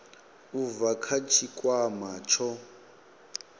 u bva kha tshikwama tsho